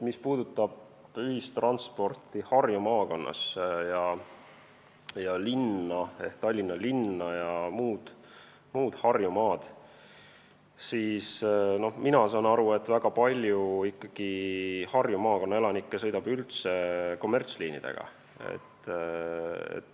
Mis puudutab ühistransporti Harju maakonnas ja Tallinna linna ja muud Harjumaad, siis mina saan aru, et väga palju Harju maakonna elanikke sõidab üldse kommertsliinidega.